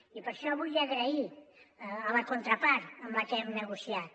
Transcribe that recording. i per això vull donar les gràcies a la contrapart amb la que hem negociat